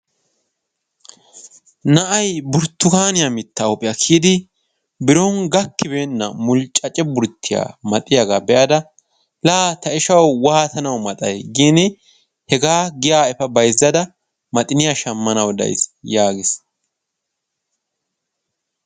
na'ay burttukaniya mitta huuphiya kiyyidi biron gakkibeena mulccace burttiyaa maxiyaaga be'ada la ta ishshaw waattanaw maxay gin hegaa giya ea bayzzada maxiniyaa shammanaw days yaagiis.